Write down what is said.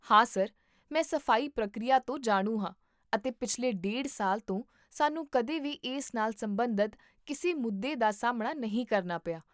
ਹਾਂ ਸਰ, ਮੈਂ ਸਫ਼ਾਈ ਪ੍ਰਕਿਰਿਆ ਤੋਂ ਜਾਣੂ ਹਾਂ ਅਤੇ ਪਿਛਲੇ ਡੇਢ ਸਾਲ ਤੋਂ, ਸਾਨੂੰ ਕਦੇ ਵੀ ਇਸ ਨਾਲ ਸਬੰਧਤ ਕਿਸੇ ਮੁੱਦੇ ਦਾ ਸਾਹਮਣਾ ਨਹੀਂ ਕਰਨਾ ਪਿਆ